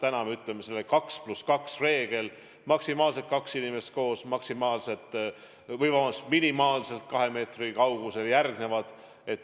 Täna me ütleme, et on selline 2 + 2 reegel: maksimaalselt kaks inimest koos minimaalselt kahe meetri kaugusel.